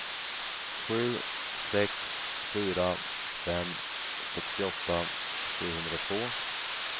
sju sex fyra fem sextioåtta sjuhundratvå